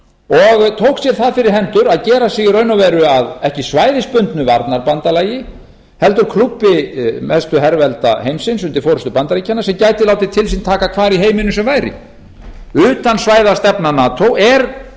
og tók sér það fyrir hendur að gera sig í raun og veru að ekki svæðisbundnu varnarbandalagi heldur klúbbi mestu hervelda heimsins undir forustu bandaríkjanna sem gætu látið til sín taka hvar í heiminum sem væri utansvæðastefna nato er